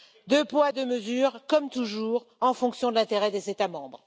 Deux poids, deux mesures, comme toujours, en fonction de l'intérêt des États membres.